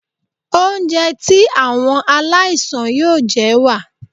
Oúnjẹ tí àwọn aláìsàn yóò jẹ wà.